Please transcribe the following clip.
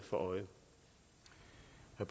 er